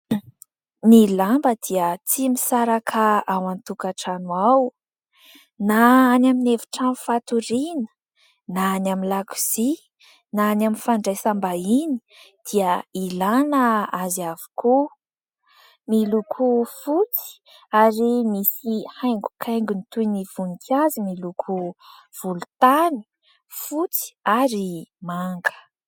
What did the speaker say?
Ny lamba dia tsy misaraka ao an-tokantrano ao, na any amin'ny efitrano fatoriana, na any amin'ny lakozia, na any amin'ny fandraisam-bahiny dia ilana azy avokoa. Miloko fotsy ary misy haingokaingony toy ny voninkazo miloko volontany, fotsy ary manga.